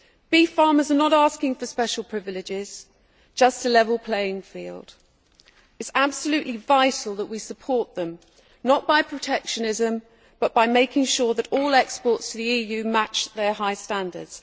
Beef farmers are not asking for special privileges just a level playing field. It is absolutely vital that we support them, not by protectionism, but by making sure that all exports to the EU match their high standards.